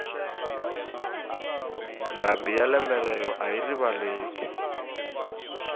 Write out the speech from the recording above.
ndhambi ya lembe rero ayi rivaleki